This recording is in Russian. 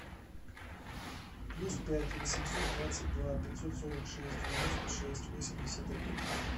плюс пять восемьсот двадцать два пятьсот сорок шесть девяносто шесть восемьдесят один